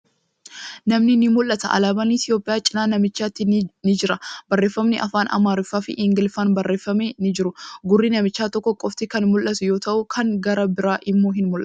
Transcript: Namni ni mul'ata. Alaaban Itiyoophiyyaa cinaa namichaatti ni jira. Barreeffamni afaan Amaariffaa fi Ingiliffaan barreeffaman ni jiru. Gurri namichaa, tokko qofti kan mul'atu yoo ta'u kan gara biraa immoo hin mul'atu.